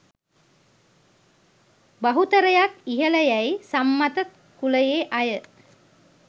බහුතරයක් ඉහල යැයි සම්මත කුලයේ අය.